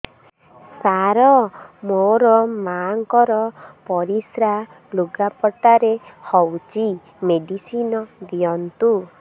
ସାର ମୋର ମାଆଙ୍କର ପରିସ୍ରା ଲୁଗାପଟା ରେ ହଉଚି ମେଡିସିନ ଦିଅନ୍ତୁ